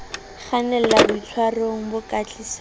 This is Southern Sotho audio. kgannela boitshwarong bo ka tlisang